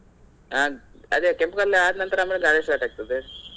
ಹಾ ಅದೇ ಕೆಂಪು ಕಲ್ಲು ಆದ ಮೇಲೆ ಗಾರೆ start ಆಗ್ತದೆ.